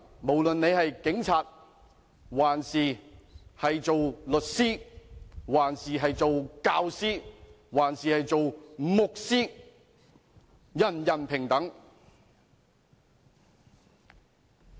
無論你是警察、律師、教師還是牧師，人人平等。